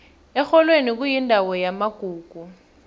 erholweni kuyindawo yamagugu